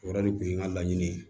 O yɛrɛ de kun ye n ka laɲini ye